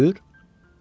Döyür?